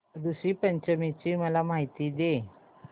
ऋषी पंचमी ची मला माहिती दे